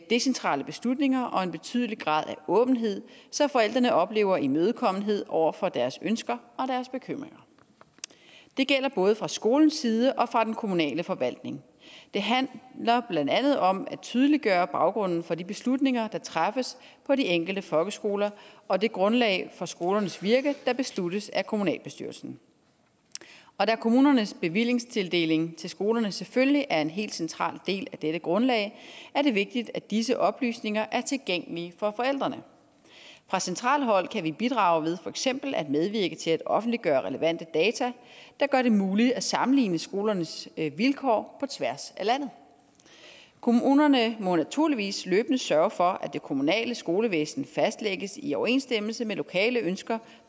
decentrale beslutninger og en betydelig grad af åbenhed så forældrene oplever imødekommenhed over for deres ønsker og deres bekymringer det gælder både fra skolens side og fra den kommunale forvaltnings side det handler blandt andet om at tydeliggøre baggrunden for de beslutninger der træffes på de enkelte folkeskoler og det grundlag for skolernes virke der besluttes af kommunalbestyrelsen og da kommunernes bevillingstildeling til skolerne selvfølgelig er en helt central del af dette grundlag er det vigtigt at disse oplysninger er tilgængelige for forældrene fra centralt hold kan vi bidrage ved for eksempel at medvirke til at offentliggøre relevante data der gør det muligt at sammenligne skolernes vilkår tværs af landet kommunerne må naturligvis løbende sørge for at det kommunale skolevæsen fastlægges i overensstemmelse med lokale ønsker